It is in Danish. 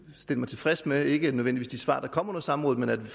stille mig tilfreds med ikke nødvendigvis de svar der kom under samrådet men at vi